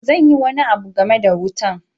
Ok, zan yi wani abu game da wutan.